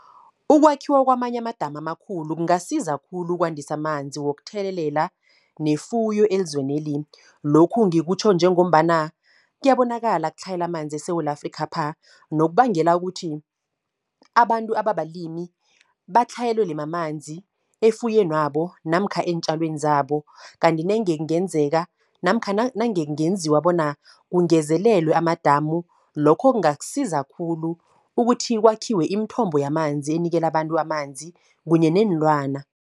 Ukwakhiwa kwamanye amadamu amakhulu, kungasiza khulu ukwandisa amanzi wokuthelelela, nefuyo ezweneli. Lokhu ngikutjho njengombana, kiyabonakala tlhayela amanzi eSewula Afrikhapha. Nokubangela ukuthi, abantu ababalimi, batlhayelelwe mamanzi efuywenabo namkha eentjalweni zabo. Kanti nenge ngenzeka, namkha nange ngenziwa bona kungezelelwe amadamu. Lokho kungasiza khulu, ukuthi kwakhiwe imithombo yamanzi, enikela abantu amanzi, kunye neenlwana.